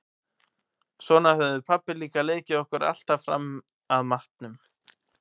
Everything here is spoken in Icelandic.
Svona höfðum við pabbi líka leikið okkur alltaf fram að matnum.